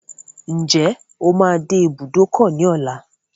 Ǹjẹ́ o máa dé ibùdókọ̀ ní ọlá?